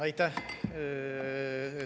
Aitäh!